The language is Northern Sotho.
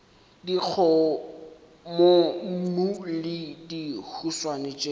le dikgomommuu le dihuswane tšeo